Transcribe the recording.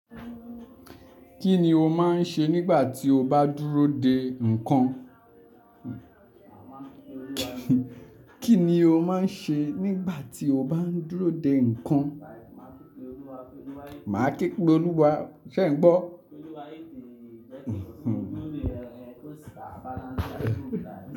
Kí ni o máa ń ṣe nígbà tí o bá dúró de nǹkan? Kí ni o máa ń ṣe nígbà tí o bá ń dúró de nǹkan? Màá ké pe olúwa, ṣẹ́ ẹ ńgbọ́?